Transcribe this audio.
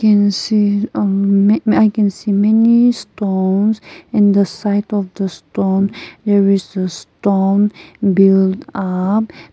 i can see uh mm i can see many stones in the site of the stone stone build up.